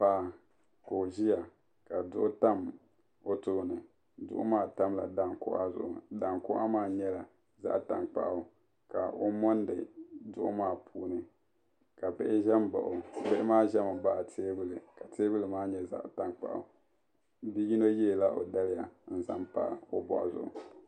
Paɣa ka o ʒiya ka duɣu tam o tooni duɣu maa tamla daankɔɣa zuɣu daankɔɣa maa nyela zaɣtankpaɣu ka o mondi duɣu maa puuni ka bihi ʒen baɣi o bihi maa ʒemi baɣi teebuli ka teebuli maa nye zaɣtankpaɣu bi yino yeela o daliya n zan pa o boɣu zuɣu.